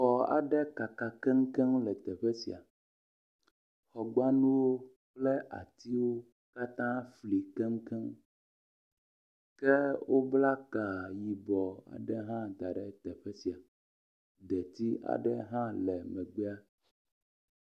Xɔ aɖe kaka keŋkeŋ le teƒe sia. Xɔgbanuwo kple atiwo katã si li keŋkeŋ ke wobla ka yibɔ aɖe hã da ɖe teƒe sia. Detsi aɖe hã le megbea.